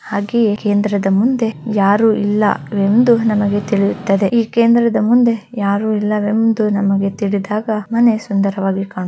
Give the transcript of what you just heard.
ಹಾಗೆ ಈ ಕೇಂದ್ರದ ಮುಂದೆ ಯಾರು ಇಲ್ಲ ಎಂದು ನಮಗೆ ತಿಳಿಯಿತ್ತದೆ ಹಾಗೆ ಈ ಕೇಂದ್ರದ ಮುಂದೆ ಯಾರು ಇಲ್ಲ ಎಂದು ನಮಗೆ ತಿಳಿದಾಗ ಮನೆ ಸುಂದರವಾಗಿ ಕ್ಶಣುತ್ತದೆ .